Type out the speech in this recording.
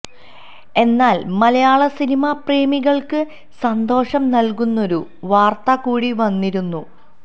എന്നാല് മലയാള സിനിമാപ്രേമികള്ക്ക് സന്തോഷം നല്കുന്നൊരു വാര്ത്ത കൂടി വന്നിരുന്നു